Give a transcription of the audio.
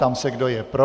Ptám se, kdo je pro.